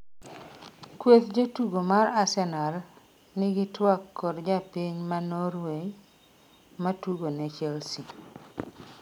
kweth jotugo mar Arsenal nigi twak kod japiny ma Norway matugo ne Chelsea